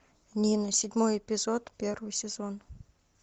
нина седьмой эпизод первый сезон